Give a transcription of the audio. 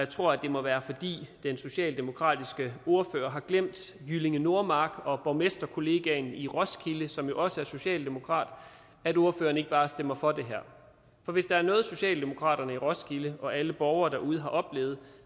tror det må være fordi den socialdemokratiske ordfører har glemt jyllinge nordmark og borgmesterkollegaen i roskilde som jo også er socialdemokrat at ordføreren ikke bare stemmer for det her for hvis der er noget socialdemokraterne i roskilde og alle borgere derude har oplevet